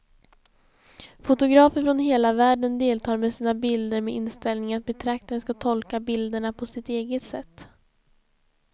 Fotografer från hela världen deltar med sina bilder med inställningen att betraktaren ska tolka bilderna på sitt eget sätt.